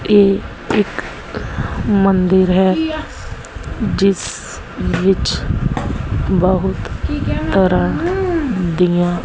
ਇਹ ਇੱਕ ਮੰਦਿਰ ਹੈ ਜਿਸ ਵਿੱਚ ਬਹੁਤ ਤਰ੍ਹਾਂ ਦੀਆਂ--